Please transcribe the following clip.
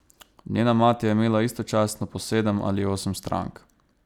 Njena mati je imela istočasno po sedem ali osem strank.